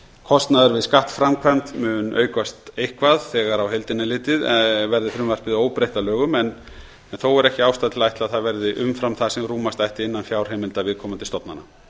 kostnaður við skattframkvæmd mun aukast eitthvað þegar á heildina er litið verði frumvarpið óbreytt að lögum en þó er ekki ástæða til að ætla að það verði umfram það sem rúmast ætti innan fjárheimilda viðkomandi stofnana